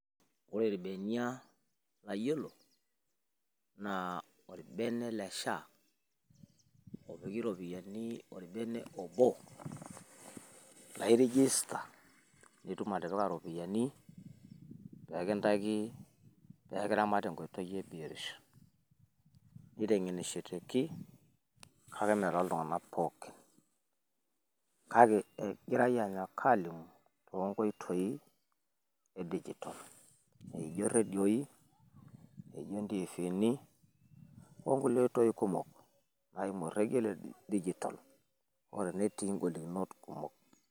Ore ilbenia layiolo naa olbene le SHA opiki irropiyiani olbene obo. Naa i register pee itum atipika irropiyiani pee kintaki pee kiramat te nkoitoi e biotisho. Niteng`enishoteki kake mme too iltung`anak pookin kake egirai aanyok aalimu too nkoitoi e digital. Naijo redioi naijo ntiviini o nkulie oitoi kumok naimu orrekie le digital, hoo netii golikinot kumok.